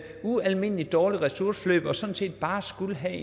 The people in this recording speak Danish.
ualmindelig dårlige ressourceforløb og sådan set bare skulle have